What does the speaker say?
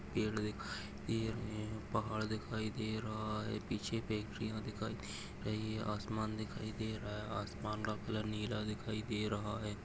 पेड़ दिखाई दे रहैं पहाड़ दिखाई दे रहा हैं पीछे फ़ैक्टरिया दिखाई दे रही है आसमान दिखाई दे रहा हैं आसमान का कलर नीला दिखाई दे रहा है ।